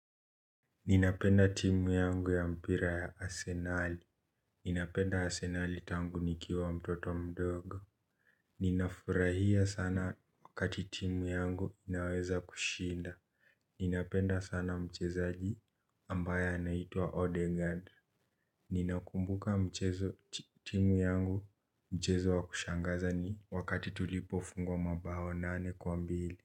Ninapenda timu yangu ya mpira ya asenali. Ninapenda asenali tangu nikiwa mtoto mdogo. Ninafurahia sana wakati timu yangu inaweza kushinda. Ninapenda sana mchezaji ambaye anaitwa. Odegand. Ninakumbuka mchezo timu yangu mchezo wakushangaza ni wakati tulipofungwa mabao nane kwa mbili.